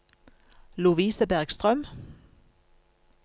Lovise Bergstrøm